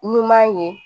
Ɲuman ye